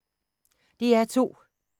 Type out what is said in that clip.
DR2